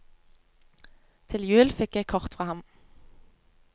Til jul fikk jeg kort fra ham.